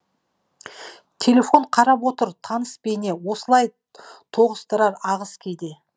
телефон қарап отыр таныс бейне осылай тоғыстырар ағыс кейде